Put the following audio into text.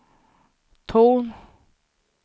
ton